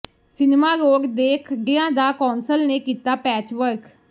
cinema road ਦੇ ਖੱਡਿਆਂ ਦਾ ਕੌਂਸਲ ਨੇ ਕੀਤਾ ਪੈਚਵਰਕ